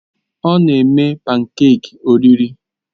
Ọ na-eme pankèki oriri.